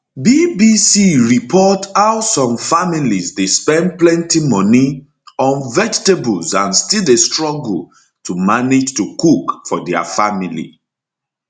bbc report how some families dey spend plenty money on vegetables and still dey struggle to manage to cook for dia family